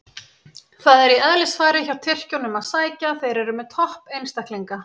Það er í eðlisfari hjá Tyrkjunum að sækja, þeir eru með topp einstaklinga.